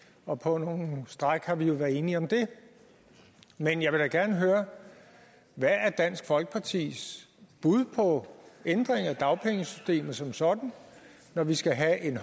og på nogle stræk har vi jo været enige om dem men jeg vil da gerne høre hvad er dansk folkepartis bud på ændring af dagpengesystemet som sådan når vi skal have en